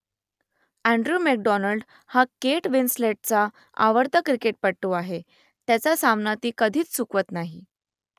Andrew McDonald हा Kate विन्स्लेटचा आवडता क्रिकेटपटू आहे त्याचा सामना ती कधीच चुकवत नाही